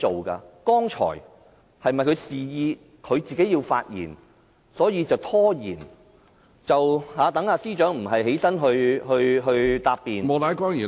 剛才她是否示意要發言，所以便拖延，讓司長暫時無須發言答辯......